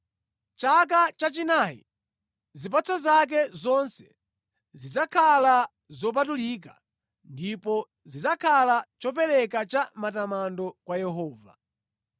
Chaka chachinayi, zipatso zake zonse zidzakhala zopatulika, ndipo zidzakhala chopereka cha matamando kwa Yehova.